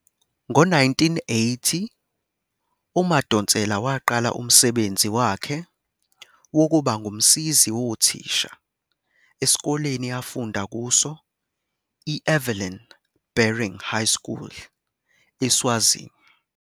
Ngo-1980, uMadonsela waqala umsebenzi wakhe wokuba ngumsizi wothisha esikoleni afunda kuso, i-Evelyn Baring High School, eSwazini.